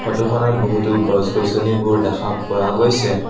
Photo খনত বহুতো গছ-গছনিবোৰ দেখা পোৱা গৈছে।